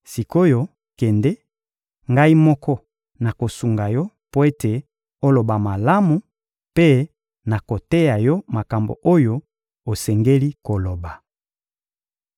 Sik’oyo kende, Ngai moko nakosunga yo mpo ete oloba malamu, mpe nakoteya yo makambo oyo osengeli koloba.